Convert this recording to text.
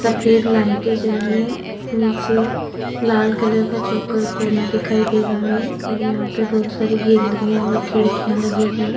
सफेद लाइटे जल रही है नीचे लाल कलर का चोकर कोना दिखाई दे रहा है और यहां पे बहुत सारी गैलरिया और खिड़कियां लगी है।